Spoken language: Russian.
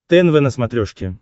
тнв на смотрешке